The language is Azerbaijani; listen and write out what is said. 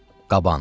Qaban.